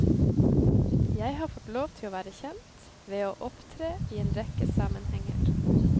Jeg har fått lov til å være kjent ved å opptre i en rekke sammenhenger.